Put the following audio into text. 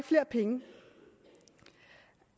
flere penge